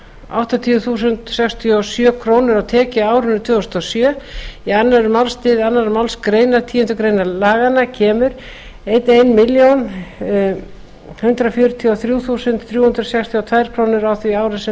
áttatíu þúsund sextíu og sjö krónur á tekjuárinu tvö þúsund og sjö í öðrum málsl annarrar málsgreinar tíundu grein laganna kemur ein milljón hundrað fjörutíu og þrjú þúsund þrjú hundruð sextíu og tvær krónur á því ári sem